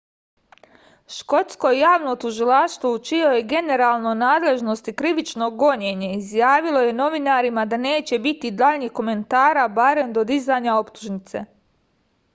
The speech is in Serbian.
škotsko javno tužilaštvo u čijoj je generalnoj nadležnosti krivično gonjenje izjavilo je novinarima da neće biti daljih komentara barem do dizanja optužnice